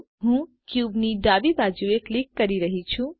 હું ક્યુબ ની ડાબી બાજુએ કિલક કરી રહી છુ